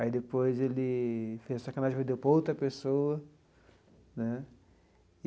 Aí depois ele fez sacanagem e vendeu para outra pessoa né.